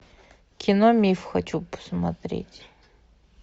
кино миф хочу посмотреть